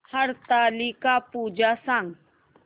हरतालिका पूजा सांग